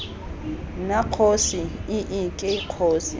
nna kgosi ii ke kgosi